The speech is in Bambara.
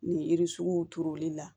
Ni w turuli la